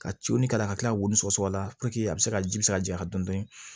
Ka coin kala ka kila ka wili sɔgɔsɔgɔ la a bɛ se ka ji bɛ se ka jaɲa dɔn